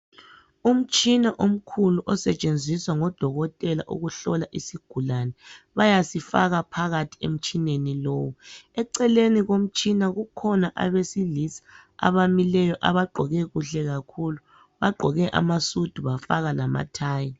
Umtshina omkhulu osetshenziswa ngodokotela ukuhlola isigulane bayasifaka phakathi emtshineni lowu. Eceleni komtshina kukhona abesilisa abamileyo abagqoke kuhle kakhulu bagqoke amasudu bafaka lamathayi.